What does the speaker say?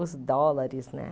Os dólares, né?